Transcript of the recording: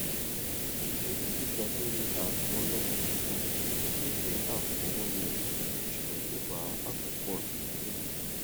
ìye owó tó ga lórí aago ọlọgbọn tuntun lè jẹ àfọwọyẹ ṣùgbọn kò bá àkópọ ináwó mi mu